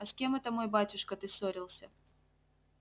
а с кем это мой батюшка ты ссорился